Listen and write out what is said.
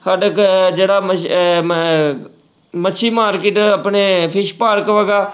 ਜਿਹੜਾ ਮਜ~ ਅਹ ਮ~ ਮੱਛੀ market ਆਪਣੇ fish ਪਾਰਕ ਹੈਗਾ